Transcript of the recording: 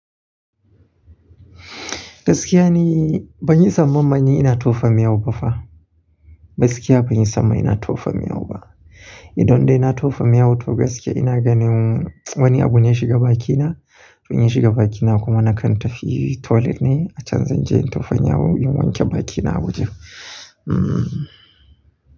Gaskiya ni ban yi zaman manne ina tofa miyau ba fa. Gaskiya ban yi sama ina tofa miyau ba. Idon da ina tofa miyau toh gaskiya ina ganin wani abu ya shiga bakina. Wani ya shiga bakina kuma na kanta fi toilet ne a can zan je in tofa miyau in wanke bakina Abuja.